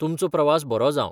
तुमचो प्रवास बरो जावं.